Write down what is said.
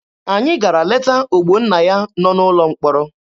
Anyị gara leta Ogbonnaya nọ n'ụlọ mkpọrọ.